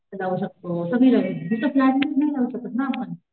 लावू शकतो सगळी लावू इथं फ्लॅट मध्ये नाही लावू शकत ना आपण.